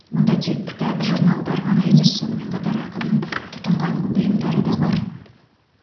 мұнда тек кітап журналдар ғана емес сонымен қатар ақынның тұтынған бұйымдары да бар